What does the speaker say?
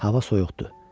Hava soyuqdu.